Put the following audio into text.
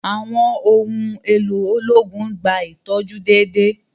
Àwọn ohùn èló ológun n gbà itọju déédéé